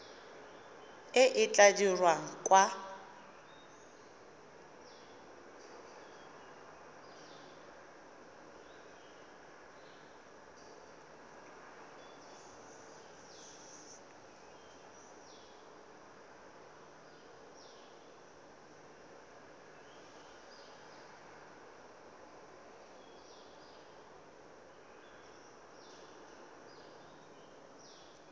e e tla dirwang kwa